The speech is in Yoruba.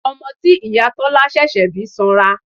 Ọmọ tí ìyá Tọ́lá ṣẹ̀ṣẹ̀ bí sanra.